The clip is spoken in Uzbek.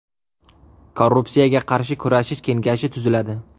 Korrupsiyaga qarshi kurashish kengashi tuziladi.